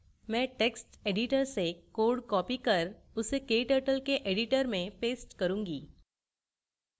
मैं text editor से code copy कर उसे kturtle के editor में paste करूँगी